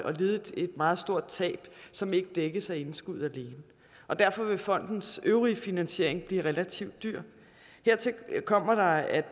lide et meget stort tab som ikke dækkes af indskuddet alene og derfor vil fondens øvrige finansiering blive relativt dyr hertil kommer at